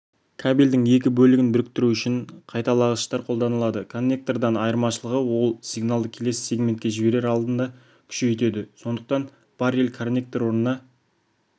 кабельдің екі бөлігін біріктіру үшін қайталағыштар қолданылады коннектордан айырмашылығы ол сигналды келесі сегментке жіберер алдында күшейтеді сондықтан баррел-коннектор орнына